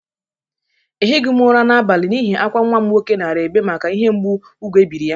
Ehighi m ụra n'abali n'ihi akwa nwa m nwoke nara ebe maka ihi mgbụ ubu ebiri ya.